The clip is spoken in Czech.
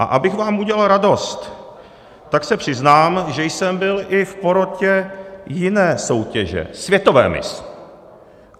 A abych vám udělal radost, tak se přiznám, že jsem byl i v porotě jiné soutěže, světové miss.